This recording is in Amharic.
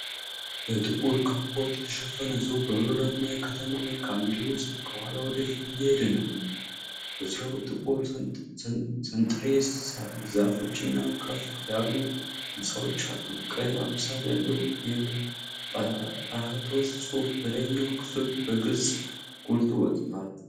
በጥቁር ካፖርት የተሸፈነ ሰው በበረዶማ የከተማ መልክዓ ምድር ውስጥ ከኋላ ወደ ፊት እየሄደ ነው። በዙሪያው ጥቁር ሰንጥሬስ ዛፎችና ከፍ ያሉ ሕንጻዎች አሉ። ቀይ አምሳል ያለው የ"ጰራህቶት" ጽሑፍ በላይኛው ክፍል በግልጽ ጎልቶ ወጥቷል።